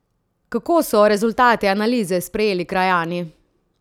Kako so rezultate analize sprejeli krajani?